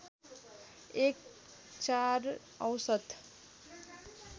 एक ४ औसत